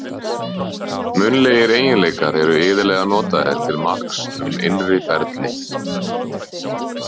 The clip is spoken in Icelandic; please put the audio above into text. Munnlegir eiginleikar eru iðulega notaðir til marks um innri ferli.